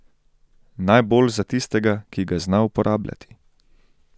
Najbolj za tistega, ki ga zna uporabljati.